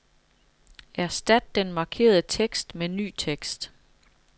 Erstat den markerede tekst med ny tekst.